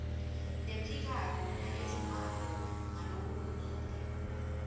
lephikako nalevumako ngalokulungile